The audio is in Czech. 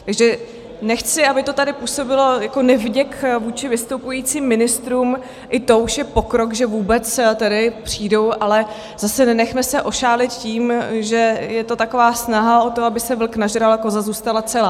Takže nechci, aby to tady působilo jako nevděk vůči vystupujícím ministrům, i to už je pokrok, že vůbec tedy přijdou, ale zase nenechme se ošálit tím, že je to taková snaha o to, aby se vlk nažral a koza zůstala celá.